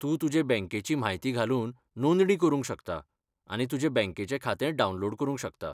तूं तुजे बँकेची म्हायती घालून नोंदणी करूंक शकता आनी तुजे बँकेचें खातें डावनलोड करूंक शकता.